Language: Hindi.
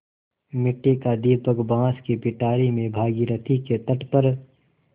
मिट्टी का दीपक बाँस की पिटारी में भागीरथी के तट पर